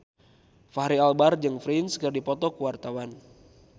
Fachri Albar jeung Prince keur dipoto ku wartawan